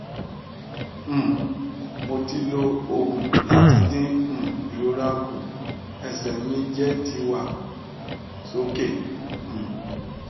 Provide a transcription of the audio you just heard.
um mo ti lo ogun lati din um irora ku ese mi je ti wa soke um